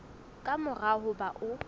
ka mora ho ba o